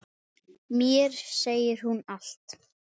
Mér segir hún allt